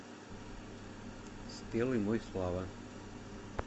спелый мой слава